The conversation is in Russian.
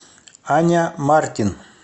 аня мартин